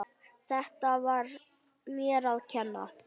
Þetta var mér að kenna.